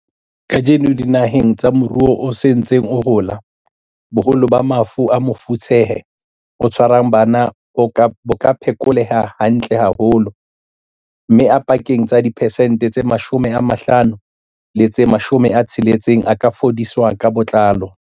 Kajeno, dinaheng tsa moruo o sa ntseng o hola, boholo ba mafu a mofetshe o tshwarang bana bo ka phekoleha hantle haholo, mme a pakeng tsa diphesente tse 50 le tse 60 a ka fodiswa ka botlalo.